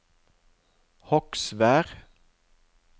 Hogsvær